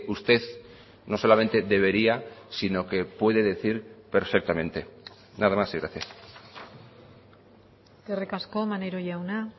usted no solamente debería sino que puede decir perfectamente nada más y gracias eskerrik asko maneiro jauna